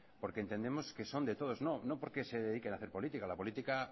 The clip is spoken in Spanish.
porque entendemos que son de todos no porque se dediquen a hacer política la política